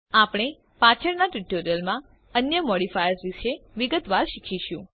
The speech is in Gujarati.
આપણે પાછળમાં ટ્યુટોરિયલ્સ માં અન્ય મોડિફાયર્સ વિષે વિગતવાર શીખીશું